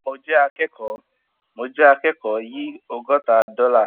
mo jẹ akẹkọọ mo jẹ akẹkọọ yìí ọgóta dọlà